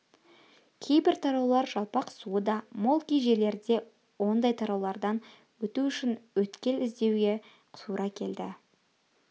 кейбір тараулар жалпақ суы да мол кей жерлерде ондай тараулардан өту үшін өткел іздеуге тура келді